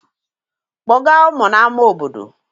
Kpọga ụmụ n'ama obodo!